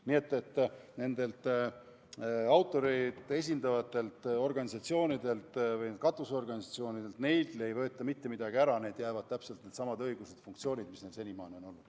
Nii et nendelt autoreid esindavatelt organisatsioonidelt, katusorganisatsioonidelt ei võeta mitte midagi ära, neile jäävad täpselt needsamad õigused ja funktsioonid, mis neil senimaani on olnud.